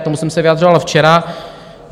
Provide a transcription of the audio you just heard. K tomu jsem se vyjadřoval včera.